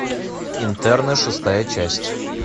интерны шестая часть